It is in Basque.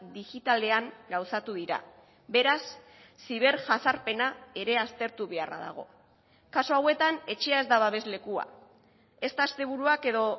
digitalean gauzatu dira beraz ziberjazarpena ere aztertu beharra dago kasu hauetan etxea ez da babeslekua ezta asteburuak edo